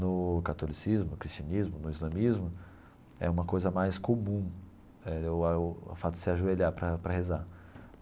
No catolicismo, cristianismo, no islamismo, é uma coisa mais comum eh o o fato de se ajoelhar para para rezar.